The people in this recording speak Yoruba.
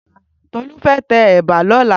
Tolu fè tè èbà lòlá